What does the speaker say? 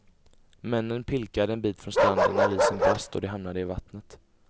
Männen pilkade en bit från stranden när isen brast och de hamnade i vattnet.